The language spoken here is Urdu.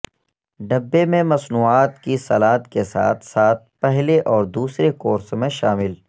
ڈبے میں مصنوعات کی سلاد کے ساتھ ساتھ پہلے اور دوسرے کورس میں شامل